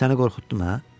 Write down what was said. Səni qorxutdum hə?